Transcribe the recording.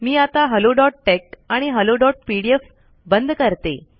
मी आता helloटेक्स आणि helloपीडीएफ बंद करते